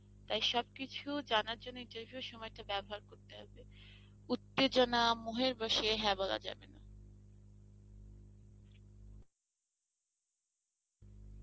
তাই সব কিছু জানার জন্য সময় টা বেবহার করতে হবে উত্তেজনা মহের বশে হ্যাঁ বলা যাবে না